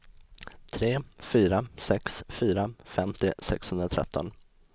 tre fyra sex fyra femtio sexhundratretton